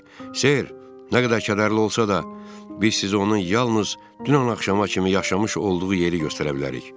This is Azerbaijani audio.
Ser, nə qədər kədərli olsa da, biz sizi onun yalnız dünən axşama kimi yaşamış olduğu yeri göstərə bilərik.